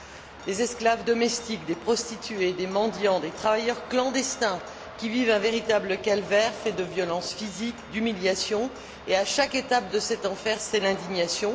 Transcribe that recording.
Il s'agit d'esclaves domestiques, de prostituées, de mendiants, de travailleurs clandestins, qui vivent un véritable calvaire fait de violences physiques, d'humiliations et à chaque étape de cet enfer, c'est l'indignation.